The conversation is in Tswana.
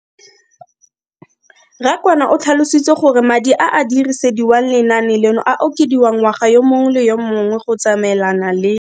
Rakwena o tlhalositse gore madi a a dirisediwang lenaane leno a okediwa ngwaga yo mongwe le yo mongwe go tsamaelana le.